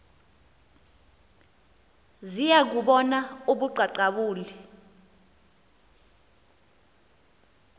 ziya bubona ubuqaqawuli